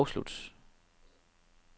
afslut